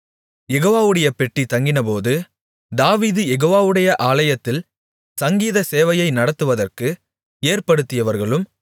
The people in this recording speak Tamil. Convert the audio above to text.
யெகோவாவுடைய பெட்டி தங்கினபோது தாவீது யெகோவாவுடைய ஆலயத்தில் சங்கீத சேவையை நடத்துவற்கு ஏற்படுத்தியவர்களும்